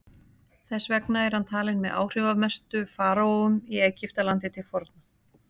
þess vegna er hann talinn með áhrifamestu faraóum í egyptalandi til forna